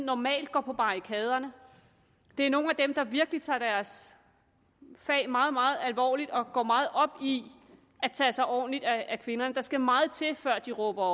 normalt går på barrikaderne det er nogle af dem der virkelig tager deres fag meget meget alvorligt og går meget op i at tage sig ordentligt af kvinderne der skal meget til før de råber